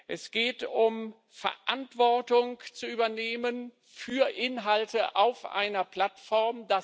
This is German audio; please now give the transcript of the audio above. Es geht darum, Verantwortung zu übernehmen für Inhalte auf einer Plattform.